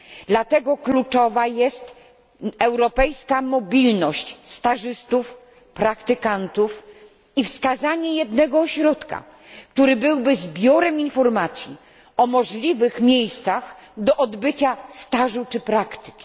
Dlatego kluczowa jest europejska mobilność stażystów i praktykantów oraz wskazanie jednego ośrodka, który byłby zbiorem informacji o możliwych miejscach do odbycia stażu czy praktyki.